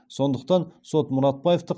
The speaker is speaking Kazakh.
сондықтан сот мұратбаевты